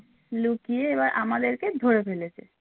লুকিয়ে এবার আমাদেরকে ধরে ফেলেছে